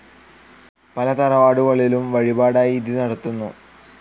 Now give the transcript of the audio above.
പല തറവാടുകളിലും വഴിപാടായി ഇത് നടത്തുന്നു.